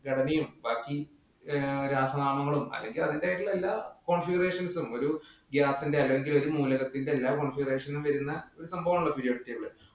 ഘടനയും, ബാക്കി രാസനാമങ്ങളും അതൊക്കെ അതിന്റേതായിട്ടുള്ള എല്ലാ configurations ഉം അല്ലെങ്കില്‍ ഒരു മൂലകത്തിന്‍റെ എല്ലാ വരുന്ന സംഭവമാണല്ലോ periodic table.